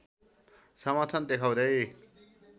समर्थन देखाउँदै